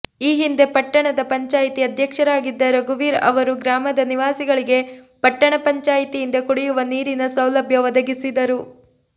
ಈ ಹಿಂದೆ ಪಟ್ಟಣಪಂಚಾಯಿತಿ ಅಧ್ಯಕ್ಷರಾಗಿದ್ದ ರಘುವೀರ್ ಅವರು ಗ್ರಾಮದ ನಿವಾಸಿಗಳಿಗೆ ಪಟ್ಟಣ ಪಂಚಾಯಿತಿಯಿಂದ ಕುಡಿಯುವ ನೀರಿನ ಸೌಲಭ್ಯ ಒದಗಿಸಿದರು